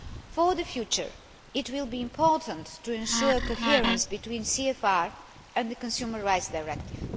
For the future, it will be important to ensure coherence between the CFR and the Consumer Rights Directive.